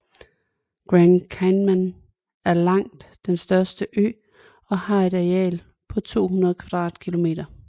Grand Cayman er langt den største ø og har et areal på 200 kvadratkilometer